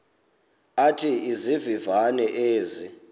athi izivivane ezi